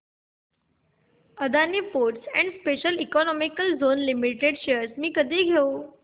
Adani ports and special economic zone limited shares मी कधी घेऊ